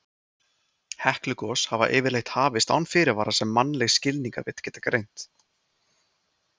Heklugos hafa yfirleitt hafist án fyrirvara sem mannleg skilningarvit geta greint.